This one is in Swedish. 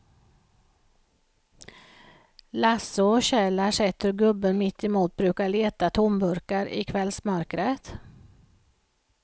Lasse och Kjell har sett hur gubben mittemot brukar leta tomburkar i kvällsmörkret.